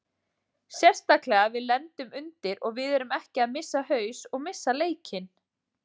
Sérstaklega við lendum undir og við erum ekki að missa haus og missa leikinn.